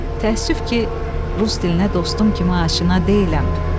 Təəssüf ki, rus dilinə dostum kimi aşina deyiləm.